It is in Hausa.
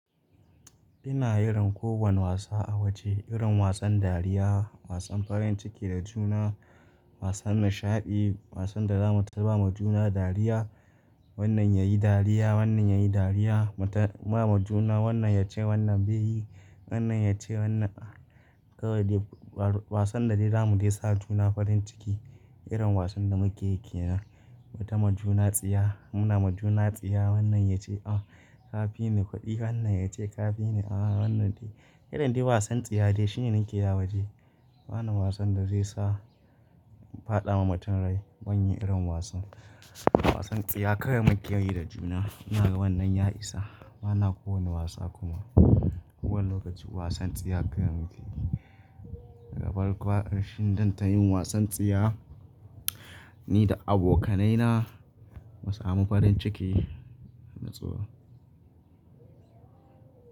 Ina irin kowane wasa a waje, irin wasan dariya, wasan farin ciki da juna, wasan nishaɗi, wasan da za mu taba ma juna dariya. Wannan ya yi dariya, wannan ya yi dariya, mu ta ma juna wannan ya ce wannan bai yi, wannan ya ce wannan a. Kawai dai wa-wasan da dai zamu yi sa juna farin ciki, irin wasan da muke yi kenan. Mu ta ma juna tsiya, muna ma juna tsiya wannan ya ce ah ka fi ni kuɗi, wannan ya ce ka fi ni ah wannan dai. Irin dai wasan tsiya dai shine nake yi a waje. Bana wasan da zai sa faɗa ma mutum rai, ban yi irin wasan. Wasan tsiya kawai muke yi da juna. Ina ga wannan ya isa. Bana kowane wasa kuma. Kowane lokaci wasan tsiya kawai muke yi. Gabar ƙwa arshin dan ta yin wasan tsiya, ni da abokanai na, mu sa mu farin ciki, mu tso.